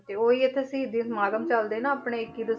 ਤੇ ਉਹ ਹੀ ਹੈ ਇੱਥੇ ਸ਼ਹੀਦੀ ਸਮਾਗਮ ਚੱਲਦੇ ਨਾ ਆਪਣੇ ਇੱਕੀ